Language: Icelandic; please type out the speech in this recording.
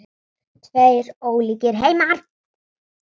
Tveir ólíkir heimar.